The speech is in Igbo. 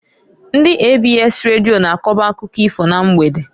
Ndị ABS Radio na-akoba akụkọ ifo na mgbede.